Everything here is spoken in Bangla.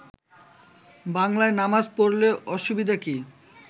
বাংলায় নামাজ পড়লে অসুবিধা কি